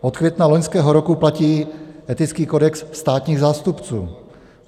Od května loňského roku platí etický kodex státních zástupců.